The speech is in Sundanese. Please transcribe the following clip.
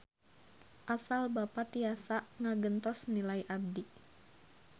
Asal Bapa tiasa ngagentos nilai abdi.